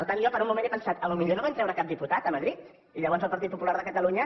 per tant jo per un moment he pensat potser no van treure cap diputat a madrid i llavors el partit popular de catalunya